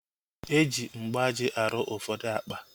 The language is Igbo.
Eji mgbaji arụ ụfọdụ akpa